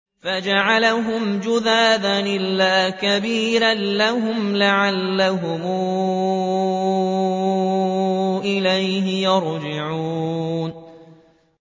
فَجَعَلَهُمْ جُذَاذًا إِلَّا كَبِيرًا لَّهُمْ لَعَلَّهُمْ إِلَيْهِ يَرْجِعُونَ